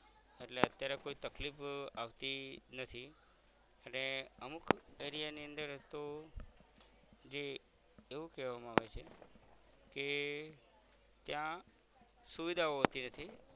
એટલે અત્યારે કોઈ તકલીફ અ આવતી નથી અને અમુક area ની અંદર તો જે એવું કેવામા આવે છે કે ત્યાં સુવિધાઓ હોતી નથી